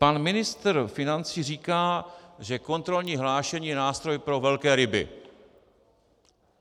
Pan ministr financí říká, že kontrolní hlášení je nástroj pro velké ryby.